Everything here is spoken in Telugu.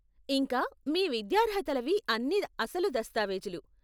ఇంకా మీ విద్యార్హతలవి అన్నీ అసలు దస్తావేజులు.